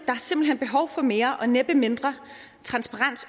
hen behov for mere og næppe mindre transparens